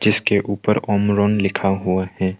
इसके ऊपर अमरोन लिखा हुआ है।